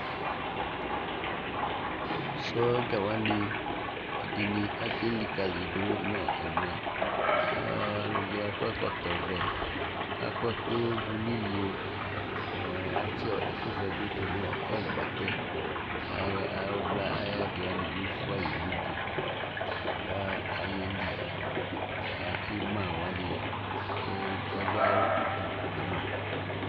sɔdza wani ɛdini aké likali du nɔ ɛmɛ ɔluɛdi akɔ ɛkɔtɔ vɛ ka kuɛku du ni iyo atsi ɛku vɛ bi du nu ɛgbatɛ ayadi wani bi fua yi nu idu ka ayéli ka ima wani ɔdu du kama